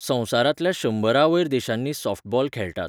संवसारांतल्या शंबरां वयर देशांनी सॉफ्टबॉल खेळटात.